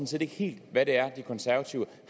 set ikke helt hvad det er de konservative